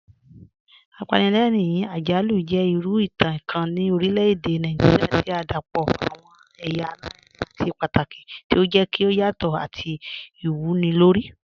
Apànlẹ̀rìn-àjàlù jẹ̀ ìrù ìtàn kàn ni orílẹ̀-èdè Nàìjíríà tí o dápọ̀ awọn èyà àlàrìnrìn àti pátàkì, tí o jẹ̀ kí o yàtọ̀ àti ìwúnilórí.